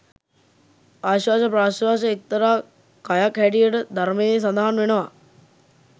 ආශ්වාස ප්‍රශ්වාස එක්තරා කයක් හැටියට ධර්මයේ සඳහන් වෙනවා.